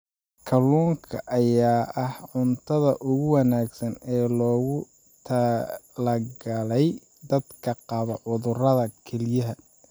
Kalluunka ayaa ah cuntada ugu wanaagsan ee loogu talagalay dadka qaba cudurrada kelyaha.